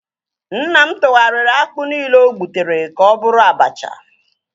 Nna m tụgharịa akpụ nile ogbutere ka ọ bụrụ abacha